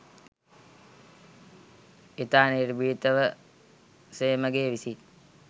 ඉතා නිර්භීතව සේමගේ විසින්